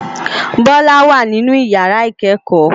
Bola wá ninú iyàrá ikèékò